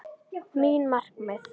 Mín markmið?